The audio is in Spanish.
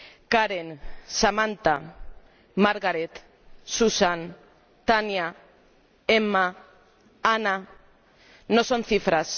Karen, Samantha, Margaret, Susan, Tania, Emma, Ana no son cifras.